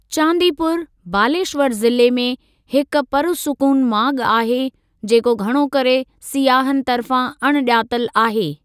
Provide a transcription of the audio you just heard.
चांदीपुर, बालेश्वर ज़िले में, हिक पुरसुकून माॻु आहे, जेको घणो करे सियाहन तर्फ़ां अणॼातल आहे।